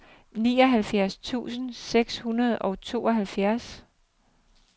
nioghalvfjerds tusind seks hundrede og tooghalvfjerds